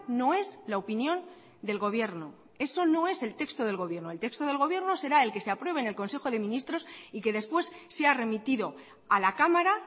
no es la opinión del gobierno eso no es el texto del gobierno el texto del gobierno será el que se apruebe en el consejo de ministros y que después sea remitido a la cámara